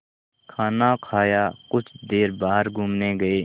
खाना खाया कुछ देर बाहर घूमने गए